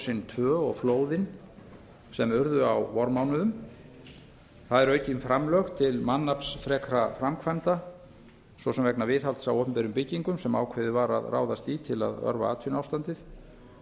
eldgosin tvö og flóðin sem urðu á vormánuðum það eru aukin framlög til mannaflsfrekra framkvæmda svo sem vegna viðhalds á opinberum byggingum sem ákveðið var að ráðast í til að örva atvinnuástandið